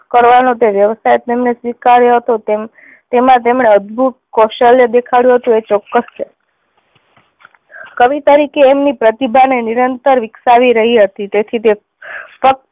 કરવાનો વ્યવસાય તેમણે સ્વીકાર્યો હતો. તેમાં તેમણે અદભૂત કૌશલ્ય દેખાડ્યું હતું એ ચોક્કસ છે કવિ તરીકે એમની પ્રતિભા ને નિરંતર વિકસાવી રહી હતી તેથી તે